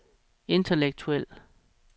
intellektuelle